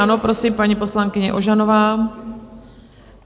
Ano, prosím, paní poslankyně Ožanová.